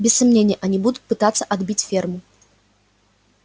без сомнения они будут пытаться отбить ферму